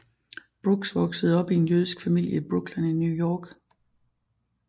Brooks voksede op i en jødisk familie i Brooklyn i New York